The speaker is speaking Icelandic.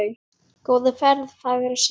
Góða ferð, fagra sál.